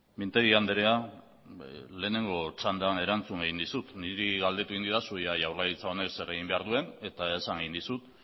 mintegi andrea lehenengo txandan erantzun egin dizut niri galdetu egin didazu ea jaurlaritza honek zer egin behar duen eta esan egin dizut